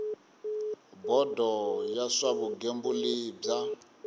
bodo ya swa vugembuli bya